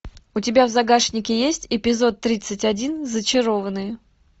у тебя в загашнике есть эпизод тридцать один зачарованные